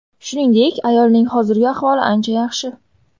Shuningdek, ayolning hozirgi ahvoli ancha yaxshi.